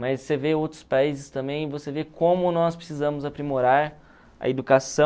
Mas você vê outros países também, você vê como nós precisamos aprimorar a educação.